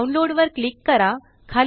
download वर click करा